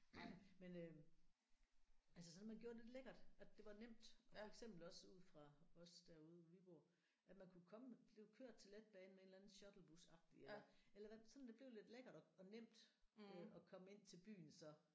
Nej men øh altså sådan at man gjorde det lidt lækkert at det var nemt og for eksempel også ude fra os derude hvor vi bor at man kunne komme blive kørt til letbanen med en eller anden shuttlebus agtigt eller eller hvad sådan at det blev lidt lækkert og og nemt øh at komme ind til byen så